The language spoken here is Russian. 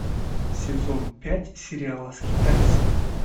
сезон пять сериала скитальцы